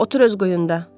Otur öz quyunda.